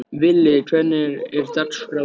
Villi, hvernig er dagskráin?